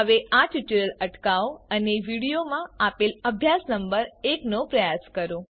હવે આ ટ્યુટોરીયલ અટકાવો અને વિડિઓમાં આપેલ અભ્યાસ નંબર એકનો પ્રયાસ કરો